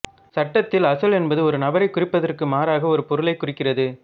சட்டத்தில் அசல் என்பது ஒரு நபரைக் குறிப்பதற்கு மாறாக ஒரு பொருளைக் குறிக்கிறது